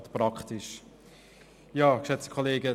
Das ist gerade praktisch.